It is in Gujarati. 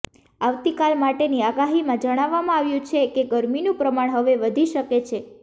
આવતીકાલ માટેની આગાહીમાં જણાવવામાં આવ્યું છે કે ગરમીનું પ્રમાણ હવે વધી શકે છે